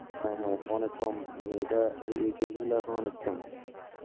হ্যাঁ হ্যাঁ অনেক কম, মানে এটা মানে ঐ case গুলা এখন অনেক কম